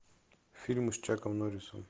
фильмы с чаком норрисом